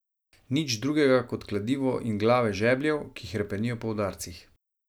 Nič drugega kot kladivo in glave žebljev, ki hrepenijo po udarcih.